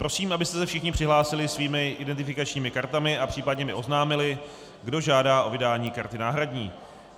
Prosím, abyste se všichni přihlásili svými identifikačními kartami a případně mi oznámili, kdo žádá o vydání karty náhradní.